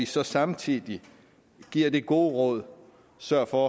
så samtidig giver det gode råd sørg for